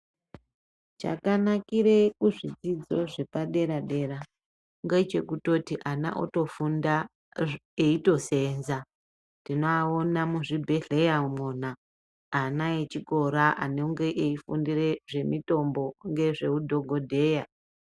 Chakanakire kuzvidzidzo zvepadera dera ngechekutoti ana otofunda eitosenza tinoaona muzvibhedhleya umwona ana echikora anenge eifundire zvemitombo ngezveudhogodheya.